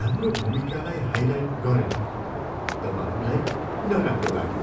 हाम्रो भूमिकालाई हाइलाइट गरेन तब हामीलाई नराम्रो लाग्यो।